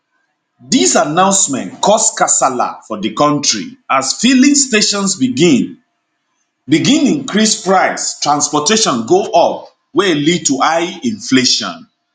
dis announcement cause kasala for di kontri as fillings stations begin begin increase price transportation go up wey lead to high inflation